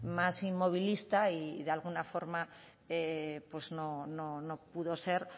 más inmovilista y de alguna forma pues no pudo ser